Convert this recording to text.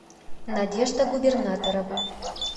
надежда губернаторова